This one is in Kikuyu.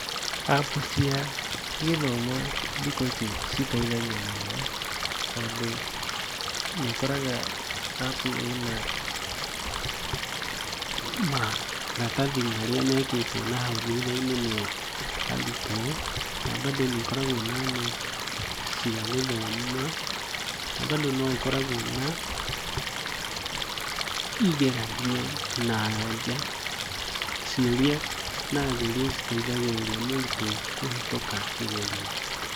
App cia gĩthomo thikũ ici citeithagia mũno tondũ nĩũkoraga app ĩna maratathi marĩa mekĩtwo nahau thutha nĩ arutwo. Na bandũ nĩikoragwo na nũti cia gũthoma, na bandũ no ĩkoragwo na igeranio na anja ciũria na anja iria citeithagĩrĩria mũrutwo kũhĩtũka kĩgerio.